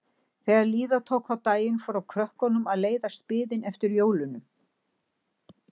Þegar líða tók á daginn fór krökkunum að leiðast biðin eftir jólunum.